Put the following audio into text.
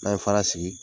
N'an ye fara sigi